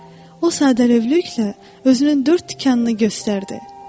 O sadəlövhlüklə özünün dörd tikanını göstərdi.